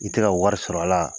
I tɛ ka wari sɔrɔ a la?